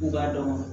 U b'a dɔn